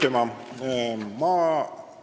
Aitüma!